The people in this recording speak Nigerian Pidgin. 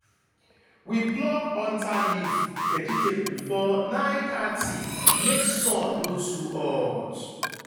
we pluck hunter leaf vegetable before nine thirty make sun no too hot.